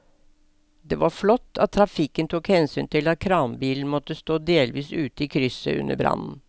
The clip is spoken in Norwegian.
Det var flott at trafikken tok hensyn til at kranbilen måtte stå delvis ute i krysset under brannen.